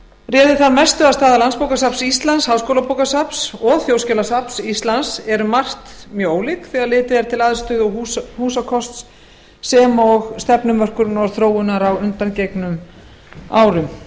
réði þar mestu að staða landsbókasafns íslands háskólabókasafns og þjóðskjalasafns íslands er um margt mjög ólík þegar litið er til aðstöðu og húsakosts sem og stefnumörkunar og þróunar á undangengnum árum